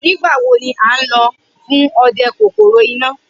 Nigbawo ni a nlo fun ọdẹ kokoro ina?